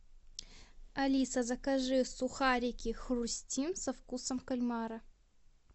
алиса закажи сухарики хрустим со вкусом кальмара